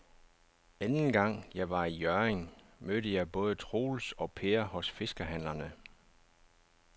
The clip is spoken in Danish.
Anden gang jeg var i Hjørring, mødte jeg både Troels og Per hos fiskehandlerne.